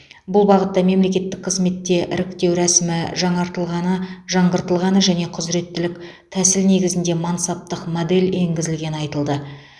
бұл бағытта мемлекеттік қызметте іріктеу рәсімі жаңартылғаны жаңғыртылғаны және құзыреттілік тәсіл негізінде мансаптық модель енгізілгені айтылды